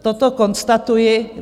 Toto konstatuji.